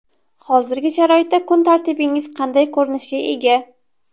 Hozirgi sharoitda kun tartibingiz qanday ko‘rinishga ega?